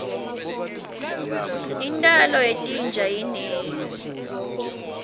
intalo yetinja inengi